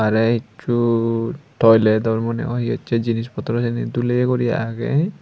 te ekku toiletor mone hoi iyot se jinich potro sini duleyi guri agey.